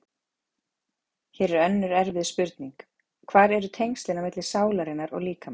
Hér er önnur erfið spurning: Hver eru tengslin á milli sálarinnar og líkamans?